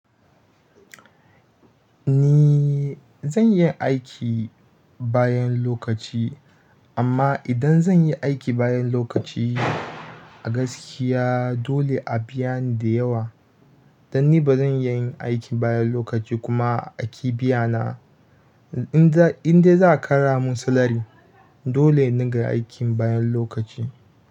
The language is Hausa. Ni zan iya aiki bayan lokaci, amma idan zan yi aiki bayan lokaci a gaskiya dole a biya ni da yawa. Dan ni ba zan iya yin aiki bayan lokaci kuma a ƙi biya na. In za. In dai za a ƙara mun salary dole in dinga aikin bayan lokaci.